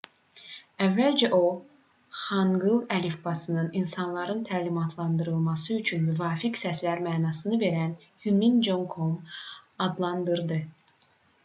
əvvəlcə o xanqıl əlifbasını insanların təlimatlandırılması üçün müvafiq səslər mənasını verən hunmin jeongeum adlandırdı